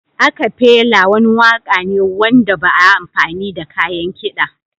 Acafela wani waƙa ne wanda ba a amfani da kayan kiɗa.